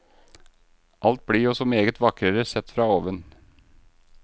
Alt blir jo så meget vakrere sett fra oven.